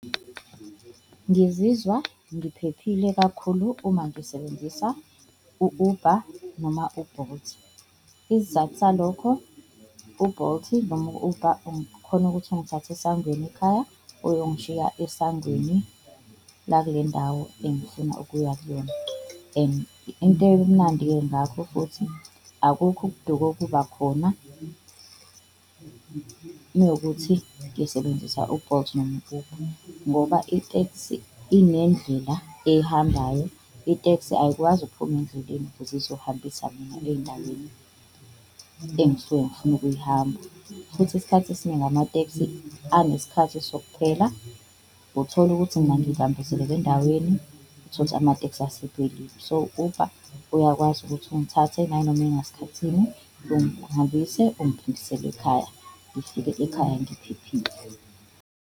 Ngizizwa ngiphephile kakhulu uma ngisebenzisa u-Uber noma u-Bolt. Isizathu salokho u-Bolt noma u-Uber ukhona ukuthi ungithathe esangweni ekhaya, uyongishiya esangweni lakulendawo engifuna ukuya kuyona. And into emnandi-ke ngakho futhi akukho ukuduka okuba khona mewukuthi ngisebenzisa u-Bolt noma u-Uber ngoba iteksi inendlela eyihambayo, iteksi ayikwazi ukuphuma endleleni ukuze uzohambisa mina eyindaweni engisuke ngifuna ukuyihamba. Futhi isikhathi esiningi amateksi anesikhathi sokuphela uthola ukuthi mina ngibambezeleke endaweni, uthole ukuthi amateksi asephelile. So, u-Uber uyakwazi ukuthi ungithathe nayinoma ingasikhathi sini, ungihambise ungiphindisele ekhaya ngifike ekhaya ngiphephile.